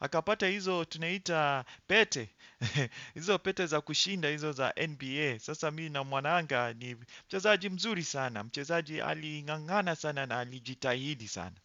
akapata hizo tunaita pete, hizo pete za kushinda hizo za NBA. Sasa mimi na mwananga ni mchezaji mzuri sana, mchezaji aling'ang'ana sana na alijitahidi sana.